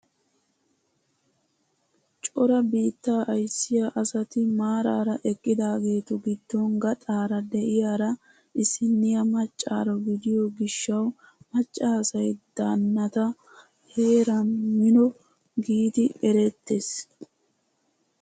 Cora biittaa ayssiyaa asati maarara eqqidaagetu giddon gaxaara de'iyaara issiniyaa maccaaro gidiyoo gishshawu macca asay danataa heeran mino giidi erettees!